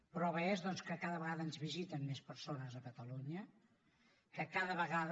la prova és doncs que cada vegada ens visiten més persones a catalunya que cada vegada